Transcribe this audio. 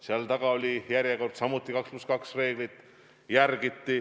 Seal oli järjekord, samuti järgiti 2 + 2 reeglit.